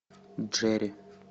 джерри